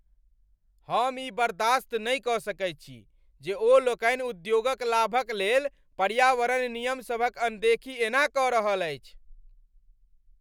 हम ई बर्दाश्त नहि कऽ सकैत छी जे ओ लोकनि उद्योगक लाभक लेल पर्यावरण नियमसभक अनदेखी एना कऽ रहल अछि।